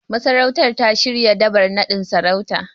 Masarautar ta shirya Dabar naɗin sarautar.